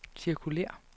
cirkulér